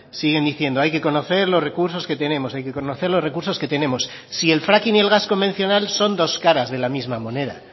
siguen diciendo hay que conocer los recursos que tenemos hay que conocer los recursos que tenemos si el fracking y el gas convencional son dos caras de la misma moneda